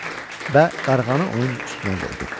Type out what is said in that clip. Və qarğanı onun üstünə qoydu.